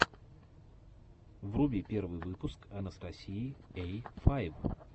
вруби первый выпуск анастасии эй файв